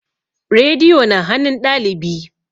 Rediyo na hanun ɗalibi